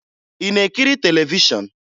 Ị na-ekiri televishọn?